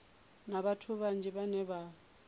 na vhathu vhanzhi vhane vha